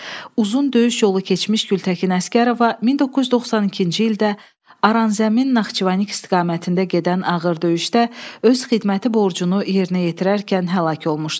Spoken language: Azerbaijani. Uzun döyüş yolu keçmiş Gültəkin Əsgərova 1992-ci ildə Aran Zəmin Naxçıvan istiqamətində gedən ağır döyüşdə öz xidməti borcunu yerinə yetirərkən həlak olmuşdu.